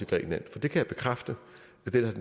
kan jeg bekræfte at den